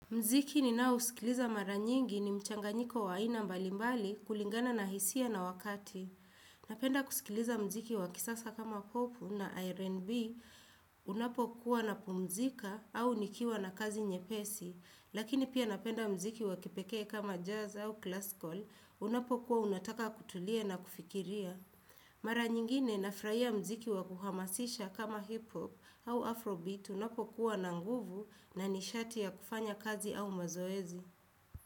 Mziki ninaosikiliza maranyingi ni mchanganyiko wa aina mbalimbali kulingana na hisia na wakati. Napenda kusikiliza mziki wa kisasa kama popu na R&B unapo kuwa na pumzika au nikiwa na kazi nyepesi. Lakini pia napenda mziki wa kipekee kama jazz au classical unapo kuwa unataka kutulia na kufikiria. Mara nyingine nafraia mziki wa kuhamasisha kama hip hop au afro bit unapokuwa na nguvu na ni shati ya kufanya kazi au mazoezi.